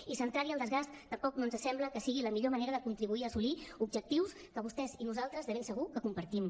i centrar hi el desgast tampoc no ens sembla que sigui la millor manera de contribuir a assolir objectius que vostès i nosaltres de ben segur que compartim